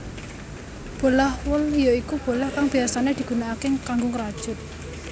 Bolah wol ya iku bolah kang biyasané digunakaké kanggo ngrajut